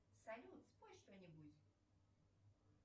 салют спой что нибудь